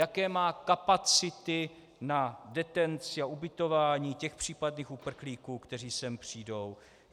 Jaké má kapacity na detenci a ubytování těch případných uprchlíků, kteří sem přijdou.